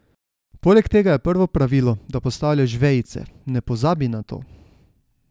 Poleg tega je prvo pravilo, da postavljaš vejice, ne pozabi na to.